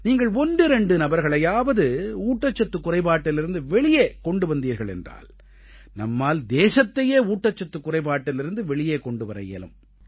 நீங்கள் ஒன்றிரண்டு நபர்களையாவது ஊட்டச்சத்துக் குறைபாட்டிலிருந்து வெளியே கொண்டு வந்தீர்கள் என்றால் நம்மால் தேசத்தையே ஊட்டச்சத்துக் குறைபாட்டிலிருந்து வெளியே கொண்டு வர இயலும்